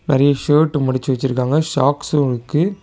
நெறைய ஷர்ட் மடிச்சு வச்சிருக்காங்க சாக்ஸு இருக்கு.